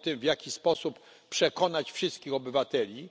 O tym, w jaki sposób przekonać wszystkich obywateli,